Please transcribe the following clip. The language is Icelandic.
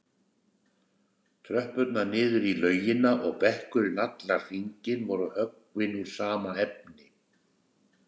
Tröppurnar niður í laugina og bekkurinn allan hringinn voru höggvin úr sama efni.